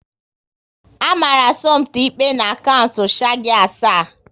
A mara Somto ikpe n'kaunt shargi asaa